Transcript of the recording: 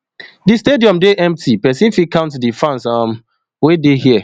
di stadium dey empty pesin fit count di fans um wey dey here